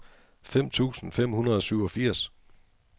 fem tusind fem hundrede og syvogfirs